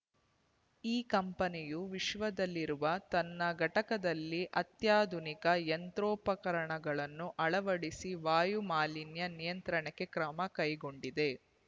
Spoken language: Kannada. ಈ ಕಂಪನಿಯು ವಿಶ್ವದಲ್ಲಿರುವ ತನ್ನ ಘಟಕದಲ್ಲಿ ಅತ್ಯಾಧುನಿಕ ಯಂತ್ರೋಪಕರಣಗಳನ್ನು ಅಳವಡಿಸಿ ವಾಯು ಮಾಲಿನ್ಯ ನಿಯಂತ್ರಣಕ್ಕೆ ಕ್ರಮ ಕೈಗೊಂಡಿದೆ